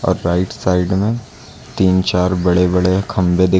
right side में तीन चार बड़े बड़े खंभे दिख--